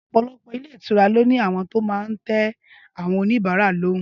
Ọpọlọpọ ilé ìtura lóní àwọn tó má tẹ àwọn òní bàrá lòún.